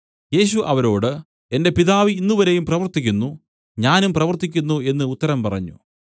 യേശു അവരോട് എന്റെ പിതാവ് ഇന്നുവരെയും പ്രവർത്തിക്കുന്നു ഞാനും പ്രവർത്തിക്കുന്നു എന്നു ഉത്തരം പറഞ്ഞു